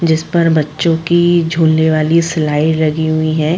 जिसपर बच्चों की झूलने वाली स्लाइड लगी हुई है।